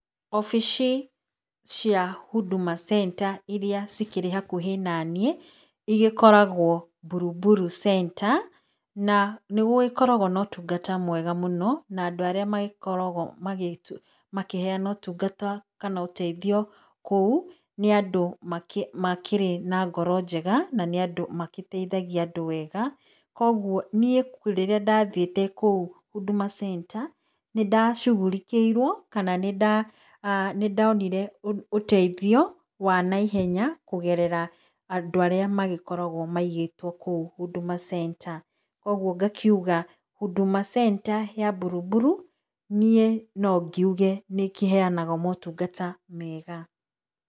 Obici cia Huduma Centre irĩa cikĩrĩ hakuhĩ naniĩ, igĩkoragwo Buruburu Centre, na nĩ gũgĩkoragwo na ũtungata mwega mũno, na andũ arĩa magĩkoragwo makĩheyana ũtungata kana ũteithio kũu, nĩ andũ makĩrĩ na ngoro njega, na nĩ andũ magĩteithagia andũ wega, koguo niĩ rĩrĩa ndathiĩte kũu Huduma Centre, nĩ ndacugurikĩirwo, kana nĩ ndonire ũteithio wa na ihenya kũgerera andũ arĩa macĩkoragwo maigĩtwo kũu, Huduma Centre. Koguo ngakiuga, Huduma Centre ya Buruburu, niĩ nongiuge nĩ ĩkĩheyanaga motungata mega.